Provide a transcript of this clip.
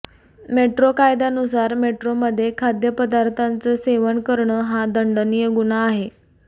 metro कायद्यानुसार मेट्रोमध्ये खाद्यपदार्थांचं सेवन करणं हा दंडनीय गुन्हा आहे